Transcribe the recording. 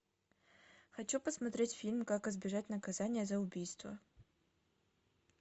хочу посмотреть фильм как избежать наказания за убийство